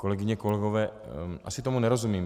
Kolegyně, kolegové, asi tomu nerozumím.